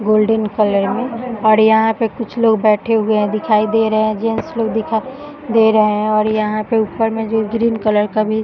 golden colour में और यहाँ कुछ लोग बैठे हुए है दिखाई दे रहे है जेंट्स लोग दिखाई दे रहे है और यहाँ पे ऊपर में जो ग्रीन कलर का भी --